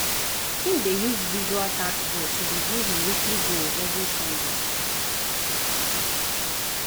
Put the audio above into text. him dey use visual task board to review him weekly goals every sundays.